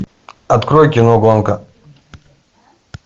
открой кино гонка